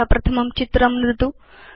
अथ प्रथमं चित्रं नुदतु